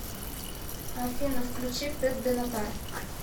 афина включи пэт бенатар